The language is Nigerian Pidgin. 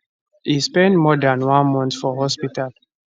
e spend more dan one month for hospital